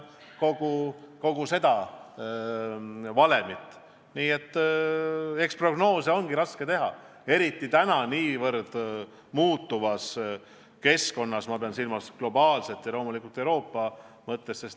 Eks prognoose ongi raske teha, eriti praeguses kiiresti muutuvas keskkonnas – ma pean silmas nii globaalset kui ka Euroopa keskkonda.